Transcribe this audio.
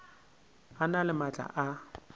a na le maatla a